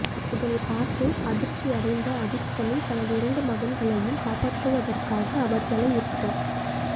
இதனைப்பார்த்து அதிர்ச்சியடைந்த அதீப் சமி தனது இரண்டு மகன்களையும் காப்பாற்றுவதற்காக அவர்களை இறுக